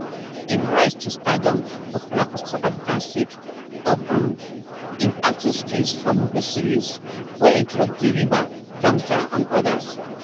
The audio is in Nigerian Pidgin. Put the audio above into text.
im rise to stardom popular for south africa sake of um im acting skills for movie series wey include the river zama zama and odas